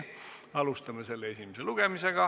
Alustame selle esimest lugemist.